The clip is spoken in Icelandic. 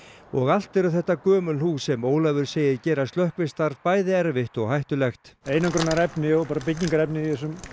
og allt eru þetta gömul hús sem Ólafur segir gera slökkvistarf bæði erfitt og hættulegt einangrunarefni og bara byggingarefni